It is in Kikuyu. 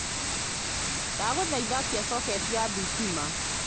ndaguthaitha akia soketi ya thitima